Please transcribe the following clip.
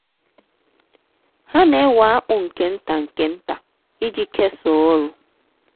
ha na-ewe akpu nke nta nke nta iji kesaa ọrụ.